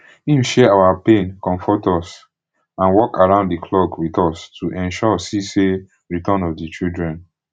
im share our pain conmfort us and work round di clock wit us to ensure si safe return of di children